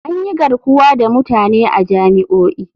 An yi garkuwa da mutane a jami'o'i.